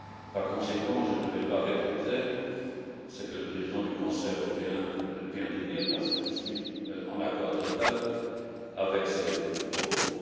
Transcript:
Par conséquent, je ne vais pas répéter ce que le président du Conseil européen vient de dire, puisque que je suis en accord total avec ses propos.